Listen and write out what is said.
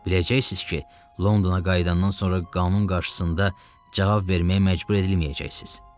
Biləcəksiniz ki, Londona qayıdandan sonra qanun qarşısında cavab verməyə məcbur edilməyəcəksiniz.